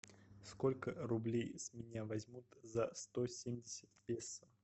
сколько рублей с меня возьмут за сто семьдесят песо